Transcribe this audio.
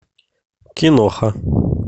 киноха